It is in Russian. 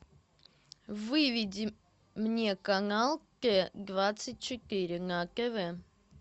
выведи мне канал т двадцать четыре на тв